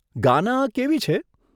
ગાના કેવી છે?